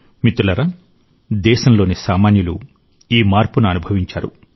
మిత్రులారా దేశంలోని సామాన్యులు ఈ మార్పును అనుభవించారు